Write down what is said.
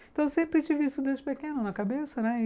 Então, sempre tive isso desde pequeno na cabeça, né?